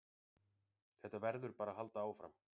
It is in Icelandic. Þetta verður bara að halda áfram